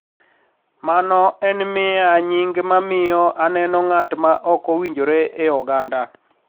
Mano en miya nying ma miyo aneno ng`at ma ok owinjore e oganda